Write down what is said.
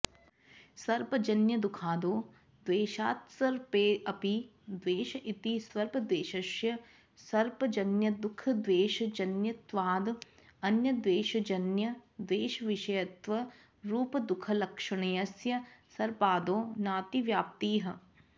सर्पजन्यदुःखादौ द्वेषात्सर्पेऽपि द्वेष इति सर्पद्वेषस्य सर्पजन्यदुःखद्वेषजन्यत्वाद् अन्यद्वेषजन्यद्वेषविषयत्वरूपदुःखलक्षणस्य सर्पादौ नातिव्याप्तिः